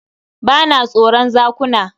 Ba na tsoron zakuna.